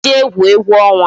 Ka anyị jee gwuo egwu ọnwa